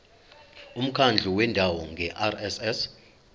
umkhandlu wendawo ngerss